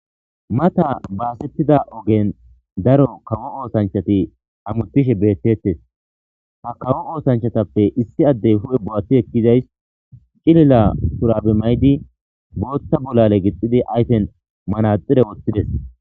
Mata baasettida ogen daro kawo oosanchati hamuttishe beettettes. Ha kawo oosanchatappe issi addey hu7e bo7ati ekkizays cilila shuraabe mayidi bootta bolaale gixxidi ayfen manaxire woththides.